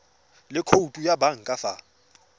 le khoutu ya banka fa